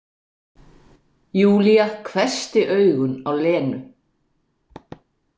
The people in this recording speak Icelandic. Júlía hvessti augun á Lenu.